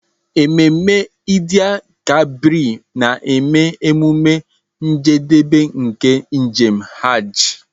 Ememe Eid-el-Kabir na-eme emume njedebe nke njem Hajj.